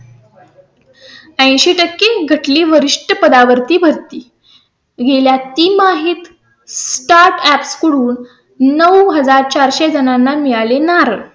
ऐंशी टक्के घटली वरिष्ठ पदां वरती भरती गेल्या तिमाहीत startup कडून नऊ हजार चार सो जणांना मिळाले. नार.